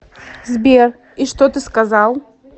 сбер и что ты сказал